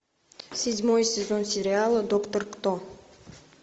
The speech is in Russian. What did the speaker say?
седьмой сезон сериала доктор кто